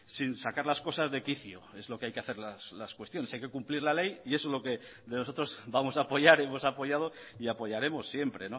sin sacar las cosas de quicio es lo que hay que hacer las cuestiones hay que cumplir la ley y eso es lo que de nosotros vamos a apoyar hemos apoyado y apoyaremos siempre